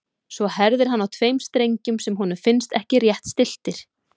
Svo herðir hann á tveim strengjum sem honum finnst ekki rétt stilltir.